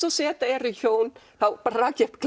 og z eru hjón þá rak ég upp